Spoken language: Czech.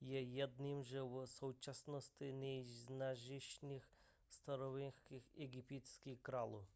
je jedním ze v současnosti nejznámějších starověkých egyptských králů